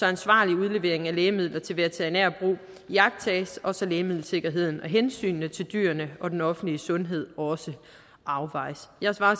ansvarlig udlevering af lægemidler til veterinært brug iagttages og så lægemiddelsikkerheden og hensynet til dyrene og den offentlige sundhed også afvejes jeg svarer